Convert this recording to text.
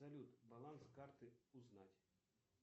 салют баланс карты узнать